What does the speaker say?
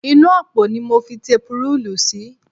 Inú àpò ni mo fi tepurúùlù sí